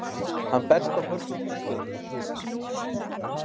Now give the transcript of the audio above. Hann berst á mörgum vígstöðvum.